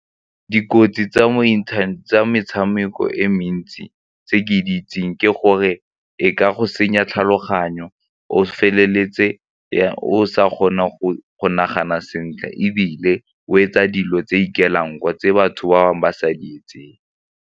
Dikotsi tsa mo internet tsa metshameko e mentsi tse ke di itseng ke gore e ka go senya tlhaloganyo, o feleletse o sa kgone go nagana sentle ebile o etsa dilo tse ikaelang tse batho ba bangwe ba sa di itseng.